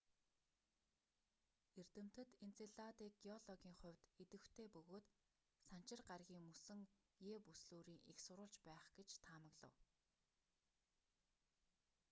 эрдэмтэд энцеладыг геологийн хувьд идэвхтэй бөгөөд санчир гарагийн мөсөн е бүслүүрийн эх сурвалж байх гэж таамаглав